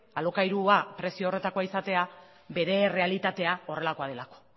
alokairua prezio horretakoa izatea bere errealitatea horrelakoa delako